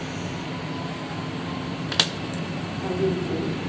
কাল দুপুর থেকে